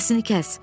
Səsini kəs.